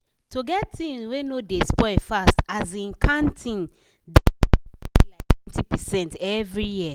to get thing wey no dey spoil fast asin canned thing dey save family liketwentypercent every year.